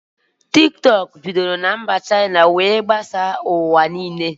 Tiktọk bidoro na mba Shaina were gbasaa mkpahara ụwa